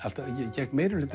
gegn meirihlutaviðhorfum